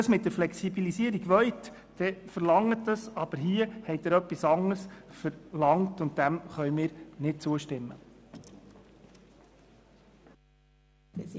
Wenn Sie eine Flexibilisierung verlangen wollen, dann tun Sie dies, doch mit diesem Vorstoss verlangen Sie etwas anderes, dem wir nicht zustimmen können.